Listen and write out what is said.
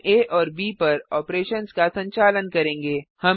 हम आ और ब पर ऑपरेशन्स का संचालन करेंगे